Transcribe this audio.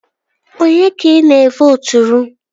Onye ka ị na-evooturu?